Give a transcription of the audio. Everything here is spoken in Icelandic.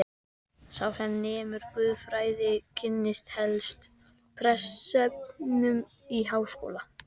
Sá sem nemur guðfræði, kynnist helst prestsefnum í háskóla.